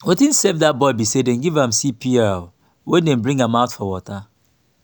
wetin save dat boy be say dey give am cpr wen dey bring am out for water